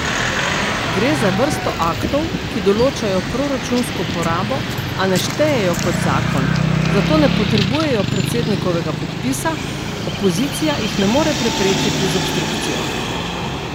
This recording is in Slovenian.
Gre za vrsto aktov, ki določajo proračunsko porabo, a ne štejejo kot zakon, zato ne potrebujejo predsednikovega podpisa, opozicija jih ne more preprečiti z obstrukcijo.